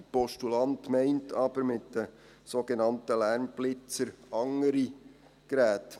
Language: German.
Der Postulant meint aber mit den sogenannten Lärmblitzern andere Geräte.